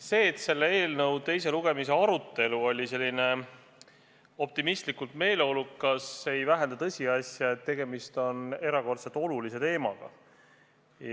See, et selle eelnõu teise lugemise arutelu oli optimistlikult meeleolukas, ei vähenda tõsiasja, et tegemist on erakordselt olulise teemaga.